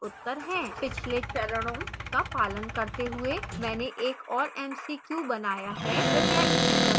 पिछले चरणों का पालन करते हुए मैंने एक और mcq बनाया है